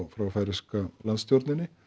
frá færeysku landstjórninni